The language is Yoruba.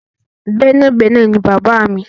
Gbẹ́nàgbẹnà ni bàbáà mi.